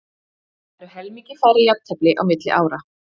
Það eru helmingi færri jafntefli á milli ára.